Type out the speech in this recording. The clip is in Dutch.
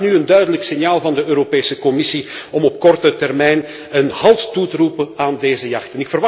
Ik vraag nu een duidelijk signaal van de Europese Commissie om op korte termijn een halt toe te roepen aan deze jacht.